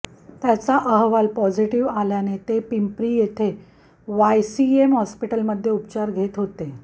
त्याचा अहवाल पॅाझिटिव्ह आल्याने ते पिंपरी येथे वायसीएम हॅास्पिटलमध्ये उपचार घेत होते